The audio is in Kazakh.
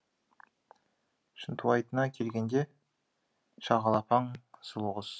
шынтуайтына келгенде шағала паң сұлу құс